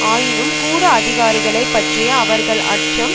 ஆயினும் கூட அதிகாரிகளை பற்றிய அவர்கள் அச்சம்